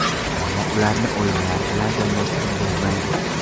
Ammo ularni o‘yinlar bilan tenglashtirib bo‘lmaydi.